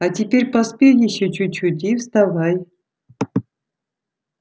а теперь поспи ещё чуть-чуть и вставай